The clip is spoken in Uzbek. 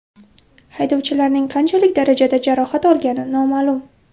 Haydovchilarning qanchalik darajada jarohat olgani noma’lum.